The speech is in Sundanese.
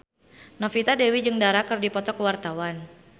Novita Dewi jeung Dara keur dipoto ku wartawan